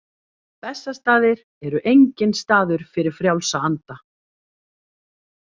Bessastaðir eru enginn staður fyrir frjálsa anda.